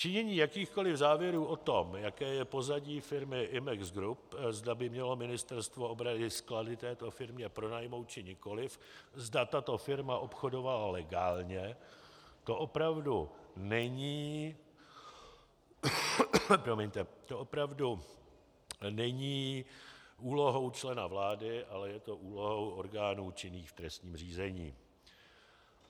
Činění jakýchkoli závěrů o tom, jaké je pozadí firmy Imex Group, zda by mělo ministerstvo obrany sklady této firmě pronajmout, či nikoliv, zda tato firma obchodovala legálně, to opravdu není úlohou člena vlády, ale je to úlohou orgánů činných v trestním řízení.